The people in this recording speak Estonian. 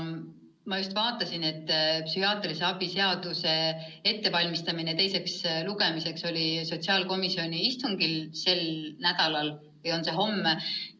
Ma vaatasin, et psühhiaatrilise abi seaduse muutmist käsitleva eelnõu ettevalmistamine teiseks lugemiseks oli sotsiaalkomisjoni istungil kavas sel nädalal, vahest on see juba homme.